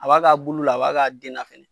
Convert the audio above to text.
A b'a ka bulu la a b'a ka den na fɛnɛ